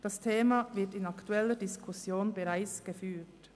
Das Thema wird in der aktuellen Debatte bereits diskutiert.